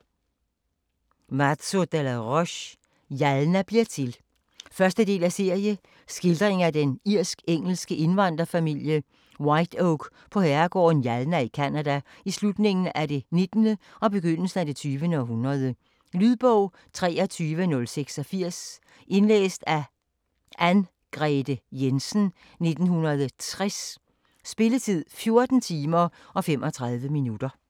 De la Roche, Mazo: Jalna bliver til 1. del af serie. Skildring af den irsk-engelske indvandrerfamilie Whiteoak på herregården Jalna i Canada i slutningen af det nittende og begyndelsen af det tyvende århundrede. Lydbog 23086 Indlæst af Anngrete Jensen, 1960. Spilletid: 14 timer, 35 minutter.